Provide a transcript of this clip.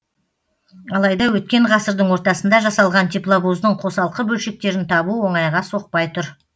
алайда өткен ғасырдың ортасында жасалған тепловоздың қосалқы бөлшектерін табу оңайға соқпай тұр